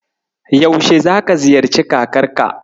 Yaushe zaka ziyarci kakarka?